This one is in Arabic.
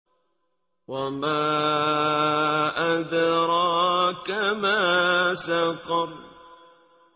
وَمَا أَدْرَاكَ مَا سَقَرُ